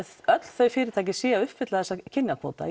öll þau fyrirtæki séu að uppfylla þennan kynjakvóta